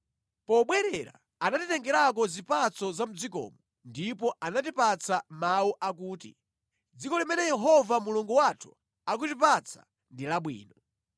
Pobwerera anatitengerako zipatso za mʼdzikomo ndipo anatipatsa mawu akuti, “Dziko limene Yehova Mulungu wathu akutipatsa ndi labwino.”